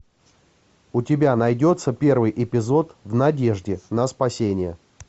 у тебя найдется первый эпизод в надежде на спасение